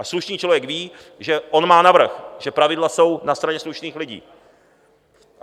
A slušný člověk ví, že on má navrch, že pravidla jsou na straně slušných lidí.